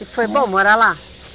E foi bom morar lá?